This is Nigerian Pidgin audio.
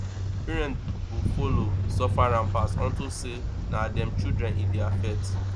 parent go follow suffer am pass unto say na dem children e dey affect